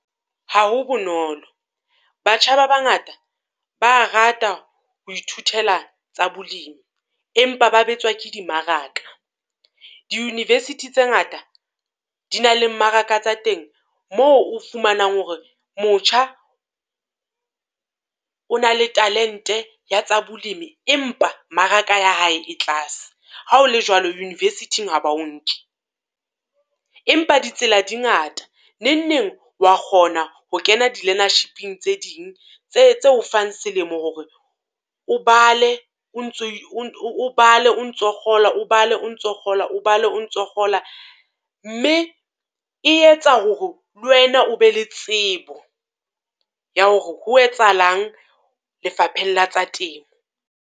Ha ho bonolo, batjha ba bangata ba a rata ho ithutela tsa bolimi. Empa ba betswa ke dimmaraka di-university tse ngata, di na le mmaraka tsa teng moo o fumanang hore motjha o na le talente ya tsa bolimi empa mmaraka ya hae e tlase. Ha o le jwalo university-ng ha ba o nke, empa di tsela di ngata, nengneng o wa kgona ho kena di-learnership-ing tse ding tse tse o fang selemo hore o bale o ntso o bale o ntso kgola, o bala o ntso kgola, o bala o ntso kgola. Mme e etsa hore le wena o be le tsebo ya hore ho etsahalang lefapheng la tsa temo?